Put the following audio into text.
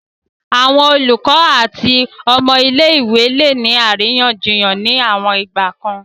Awọn olukọ ati awọn ọmọ ile-iwe le ni ariyanjiyan ni awon igbakan